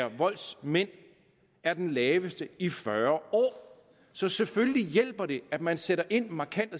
og voldsmænd er det laveste i fyrre år så selvfølgelig hjælper det at man sætter markant